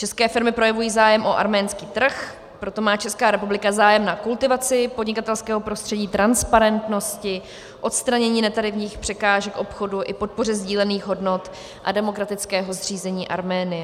České firmy projevují zájem o arménský trh, proto má Česká republika zájem na kultivaci podnikatelského prostředí, transparentnosti, odstranění netarifních překážek obchodu i podpoře sdílených hodnot a demokratického zřízení Arménie.